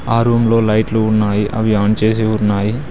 ఆ రూమ్ లో లైట్లు ఉన్నాయి అవి ఆన్ చేసి ఉన్నాయి.